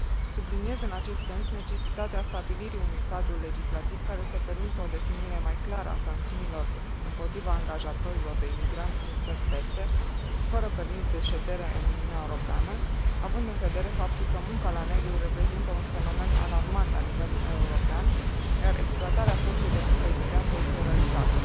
Subliniez în acest sens necesitatea stabilirii unui cadru legislativ care să permită o definire mai clară a sancțiunilor împotriva angajatorilor de imigranți din țări terțe, fără permis de ședere în Uniunea Europeană, având în vedere faptul că munca la negru reprezintă un fenomen alarmant la nivel european, iar exploatarea forței de muncă imigrantă este o realitate.